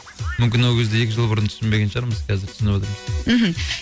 мүмкін ол кезде екі жыл бұрын түсінбеген шығармыз қазір түсініп отырмыз мхм